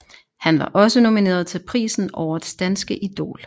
Han var også nomineret til prisen Årets Danske Idol